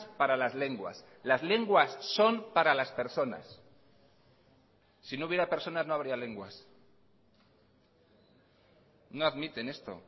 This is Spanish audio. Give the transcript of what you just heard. para las lenguas las lenguas son para las personas si no hubiera personas no habría lenguas no admiten esto